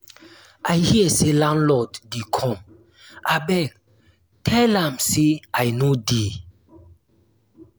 i hear say landlord dey come abeg tell am say i no dey